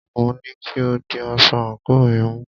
Mo ní kí o di aṣọ àńkò mi mú!